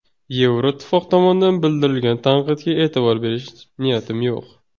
Yevroittifoq tomonidan bildirilgan tanqidga e’tibor berish niyatim yo‘q.